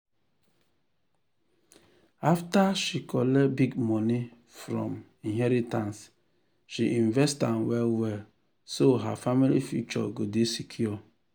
after she collect big money from inheritance she invest am well so her family future go dey secure.